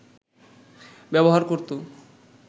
ব্যবহার করত